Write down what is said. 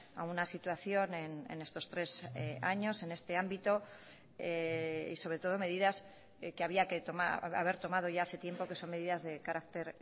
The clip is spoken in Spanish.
a una situación en estos tres años en este ámbito y sobre todo medidas que había que haber tomado ya hace tiempo que son medidas de carácter